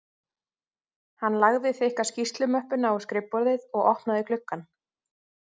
Hann lagði þykka skýrslumöppuna á skrifborðið og opnaði gluggann